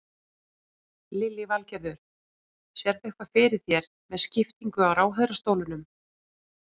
Lillý Valgerður: Sérðu eitthvað fyrir þér með skiptingu á ráðherrastólum?